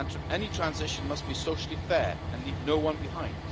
Any transition must be socially fair and leave no one behind.